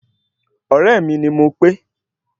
Ọ̀rẹ́ mi ni Mopé